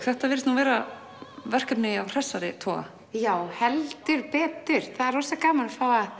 þetta virðist nú vera verkefni af hressari toga já heldur betur það er rosa gaman að